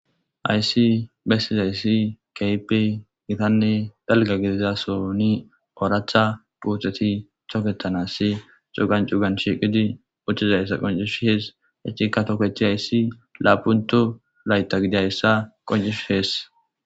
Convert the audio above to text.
Ayssi bessizayssi kaype gitanne dalga gidizasoni ooracha puuteti chooketanassi cuugan cugan shiiqidi uccizayssa qoncish hees echikka tokechi hayssi laapunto layta gidayssa qoncish hees.